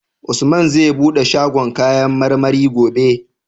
Usman zai buɗe shagon kayan marmarin gobe?